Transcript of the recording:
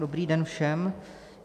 Dobrý den všem.